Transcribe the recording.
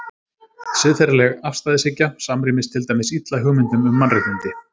Siðferðileg afstæðishyggja samrýmist til dæmis illa hugmyndum um mannréttindi.